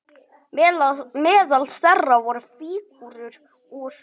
Meðal þeirra voru fígúrur úr